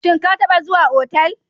Shin ka taɓa zuwa otal?